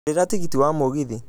ngũrĩra tigiti wa mũgithi